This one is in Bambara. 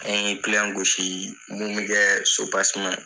An ye gosi mun be kɛ .